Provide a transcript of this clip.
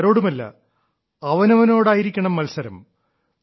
മറ്റാരോടുമല്ല അവനവനോടായിരിക്കണം മത്സരം